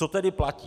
Co tedy platí?